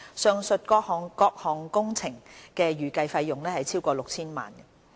上述各項工程的預計費用超過 6,000 萬元。